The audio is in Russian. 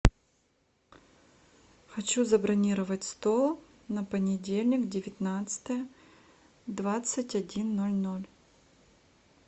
хочу забронировать стол на понедельник девятнадцатое двадцать один ноль ноль